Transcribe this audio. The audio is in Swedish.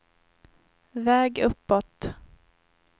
väg uppåt